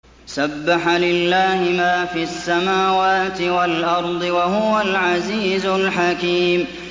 سَبَّحَ لِلَّهِ مَا فِي السَّمَاوَاتِ وَالْأَرْضِ ۖ وَهُوَ الْعَزِيزُ الْحَكِيمُ